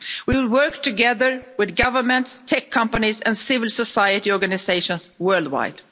We will work together with governments, tech companies and civil society organisations worldwide.